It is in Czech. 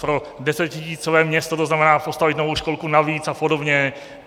Pro desetitisícové město to znamená postavit novou školku navíc a podobně.